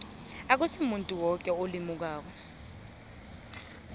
akusimuntu woke olimukako